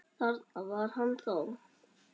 Þarna var hann þá!